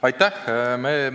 Aitäh!